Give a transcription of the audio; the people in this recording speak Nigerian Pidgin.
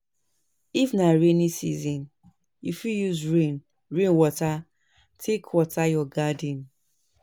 If na rainy season, you fit use rain rain water take water your garden